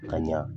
Ka ɲa